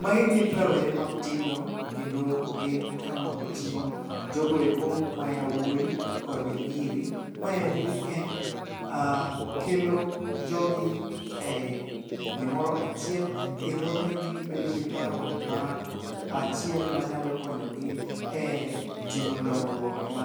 Magi gin rawere ma tindo, kedo gin kama oting'o jogoeko ma yawuoyi kod nyiri. Maeri en kelo jogi e gimoro achiel, kendo miyogi gibedo gi paro ma achiel ma nyalo konyogi e timo dongruok ma